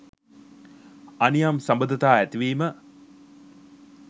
අනියම් සබඳතා ඇතිවීම